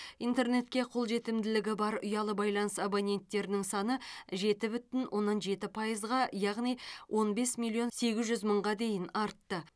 интернетке қолжетімділігі бар ұялы байланыс абоненттерінің саны жеті бүтін оннан жеті пайызға яғни он бес миллион сегіз жүз мыңға дейін артты